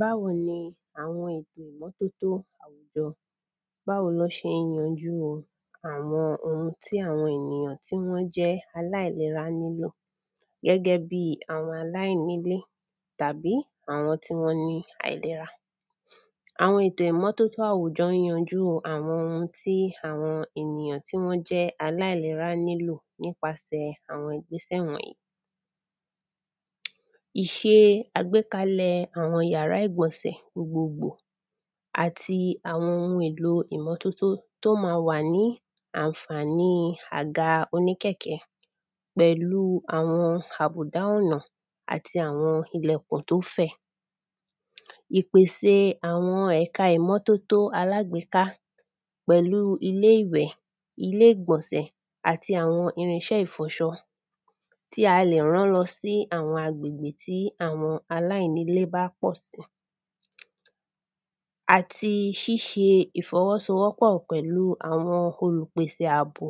Báwo ni àwọn ètò ìmọ́tótó àwùjọ, báwo ló ṣe ń yanjú àwọn oun tí àwọn ènìyàn tí wọ́n jẹ́ aláìlera nílò, gẹ́gẹ́ bí àwọn aláìnílé, tàbí àwọn tí wọ́n ní àìlera, àwọn ètò ìmọ́tótó àwùjọ yanjú àwọn tí, àwọn ènìyàn tí wọ́n jẹ́ aláìlera nílò nípasẹ̀ àwọn ìgbésẹ̀ wọ̀nyí, ìṣe àgbékalẹ̀ àwọn yàrá ìgbọ̀nsẹ̀ gbogbogbò àti àwọn oun èlò ìmọ́tótó tó ma wà ní ànfàní àga oníkẹ̀kẹ́, pẹ̀lú àwọn àbùdá ọ̀nà àti àwọn ilẹ̀kùn tó fẹ̀, ìpèse àwọn ẹ̀ka ìmọ́tótó alágbèéká pẹ̀lú ilé ìwẹ̀, ilé ìgbọ̀nsẹ̀ àti àwọn irinṣẹ́ ìfọṣọ, tí a lè rán lọ sí àwọn agbègbè tí àwọn aláìnílé bá pọ̀ sí, àti ṣíṣe ìfọwọ́sowọ́pọ̀ pẹ̀lú àwọn olùpèsè àbò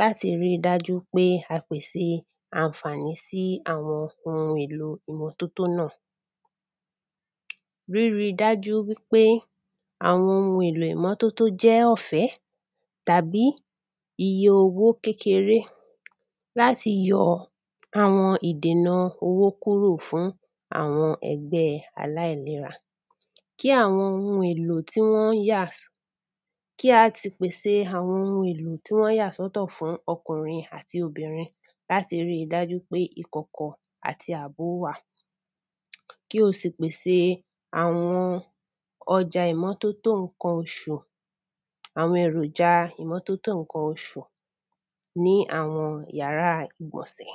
láti ri dájú pé a pèse ànfàní sí àwọn oun èlo ànfàní nà, rí ri dájú wípé àwọn oun èlo ìmọ́tótó jẹ́ ọ̀fẹ́ tàbí iye owó kékeré lati yọ àwọn ìdènà owó kúrò fún àwọn ẹgbẹ́ aláìlera, kí àwọn oun èlò tí wọ́n yà, kí á ti pèsè àwọn oun èlò tí wọ́n yà sọ́tọ̀ fún ọkùnrin àti obìnrin láti ri dájú pé ikọ̀kọ̀ àti àbó wà, kí o sì pèse àwọn ọjà ìmọ́tótó ǹkan oṣù, àwọn èròja ìmọ́tótó ǹkan oṣù ní àwọn yàrá ìgbọ̀nsẹ̀.